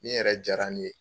Nin yɛrɛ jara ne ye.